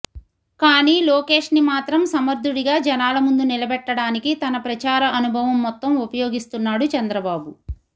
కానీ లోకేష్ని మాత్రం సమర్థుడిగా జనాల ముందు నిలబెట్టడానికి తన ప్రచార అనుభవం మొత్తం ఉపయోగిస్తున్నాడు చంద్రబాబు